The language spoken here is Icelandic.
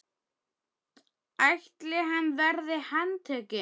ætli hann verði handtekinn?